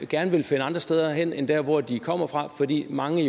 gerne vil finde andre steder hen end der hvor de kommer fra fordi mange